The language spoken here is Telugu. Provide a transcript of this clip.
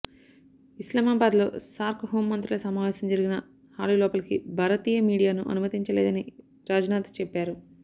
ఇస్లామాబాద్లో సార్క్ హోం మంత్రుల సమావేశం జరిగిన హాలులోపలికి భారతీయ మీడియాను అనుమతించలేదని రాజ్నాథ్ చెప్పారు